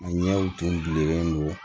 An ɲɛw tun bɛ don